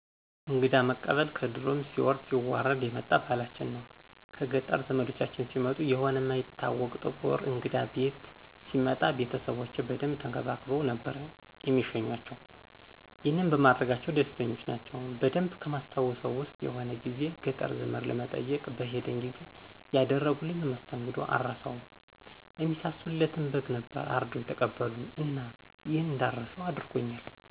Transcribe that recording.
እንግዳ መቀበል ከድሮም ሲወርድ ሲዋረድ የመጣ ባህላችን ነው። ከገጠር ዘምዶቻችን ሲመጡ ሆነ እማይታወቅ ጥቁር እንግዳ ቤት ሲመጣ ቤተሰቦቼ በደንብ ተንከባክበው ነበር እሚሸኙአቸው። ይሄንንም በማድረጋቸው ደስተኞች ናቸው። በደንብ ከማስታውሰው ዉስጥ የሆነ ጊዜ ገጠር ዘመድ ለመጠየቅ በሄድን ጊዜ ያደረጉልንን መስተንግዶ አረሳውም። እሚሳሱለትን በግ ነበር አርደው የተቀበሉን እና ይሄንን እንዳረሳው አድርጎኛል።